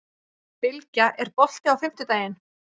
Bylgja, er bolti á fimmtudaginn?